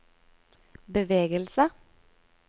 bevegelse